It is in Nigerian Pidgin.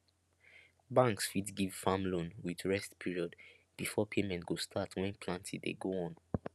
banks fit give farm loan with rest period before payment go start when planting dey go on